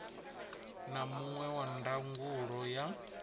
na muṅwe wa ndangulo ya